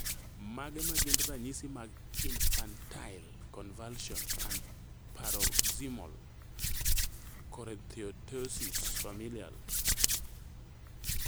Mage magin ranyisi mag Infantile convulsions and paroxysmal choreoathetosis, familial?